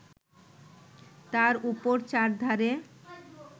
তার উপর চারধারে